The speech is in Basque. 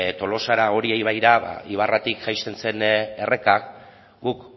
tolosara oria ibaira ibarratik jaisten zen erreka guk